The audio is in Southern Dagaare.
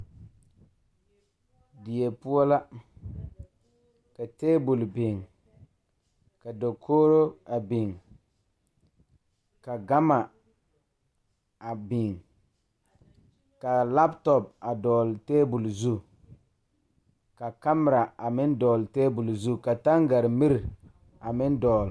Die poɔ la ka tabol biŋ ka dakogro a biŋ ka gama a biŋ ka lapetɔpe a dɔgle tabol zu ka kamera a meŋ dɔgle tabol zu ka tangarimiri a meŋ dɔgle.